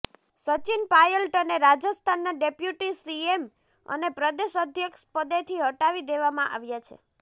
સચિન પાયલટને રાજસ્થાનના deputy CM અને પ્રદેશ અધ્યક્ષ પદેથી હટાવી દેવામાં આવ્યા છે